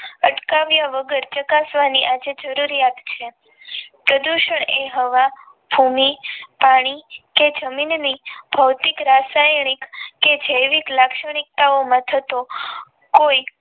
અટકાવ્યા વગર ચકાસવાની આજે જરૂરિયાત છે પ્રદૂષણ એ હવા ભૂમિ પાણી કે જમીનની ભૌતિક રાસાયણિક કે જૈવિક લાક્ષણિકતા ઓમાં થતો કોઈ